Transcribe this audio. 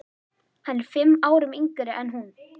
Hann er fimm árum yngri en hún.